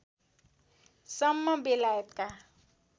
सम्म बेलायतका